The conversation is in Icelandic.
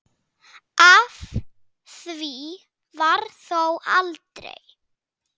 Af því varð þó aldrei.